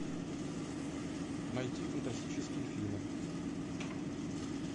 найти фантастические фильмы